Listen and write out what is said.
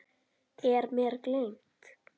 Eru mér gleymd.